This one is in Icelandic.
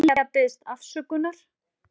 Lilja biðst afsökunar